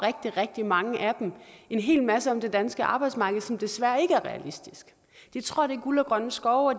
rigtig mange af dem en hel masse om det danske arbejdsmarked som desværre ikke er realistisk de tror at det er guld og grønne skove og